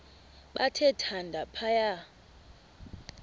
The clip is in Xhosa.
bathe thande phaya